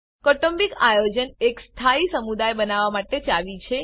કૌટુંબિક આયોજન એક સ્થાયી સમુદાય બનાવવા માટે ચાવી છે